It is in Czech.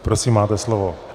Prosím, máte slovo.